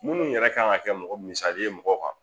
Munnu yɛrɛ kan ka kɛ mɔgɔ misali ye mɔgɔ kan